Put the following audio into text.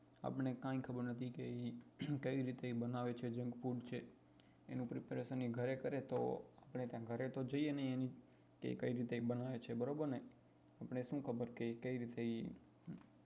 આપણે કઈ ખબર નથી કે એ કઈ રીતે એ બનાવે છે junk food છે એનું preparation એ ઘરે કરે તો ઘરે તો જઈએ એની કે કઈ રીતે એ બનાવે છે બરોબર ને આપણે શું ખબર કે કઈ રીતે એ